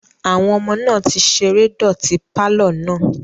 Àwọn ọmọ náà ti ṣeré dọ̀ti pàlọ́ náà